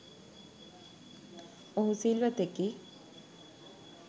ඔහු සිල්වතෙකි,